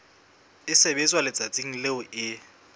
e sebetswa letsatsing leo e